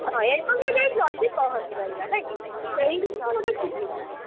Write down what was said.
ହଁ ଏୟା କଣ ଟିକେଯାଇ ଜଲଦି ପହଞ୍ଚି ପାରିବା ନାଇ କି? ସେଇ ଜିନିଷ ଟିକେ ସୁବିଧା।